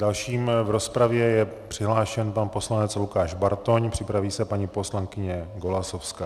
Dalším v rozpravě je přihlášen pan poslanec Lukáš Bartoň, připraví se paní poslankyně Golasowská.